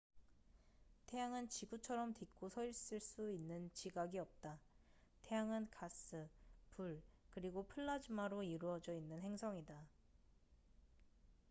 태양은 지구처럼 딛고 서있을 수 있는 지각이 없다 태양은 가스 불 그리고 플라즈마로 이루어져 있는 행성이다